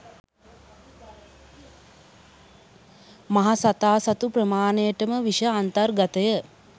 මහසතා සතු ප්‍රමාණයටම විෂ අන්තර්ගතය